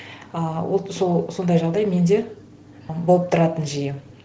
ыыы вот сол сондай жағдай менде болып тұратын жиі